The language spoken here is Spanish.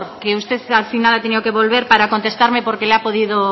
que usted al final ha tenido que volver para contestarme porque le ha podido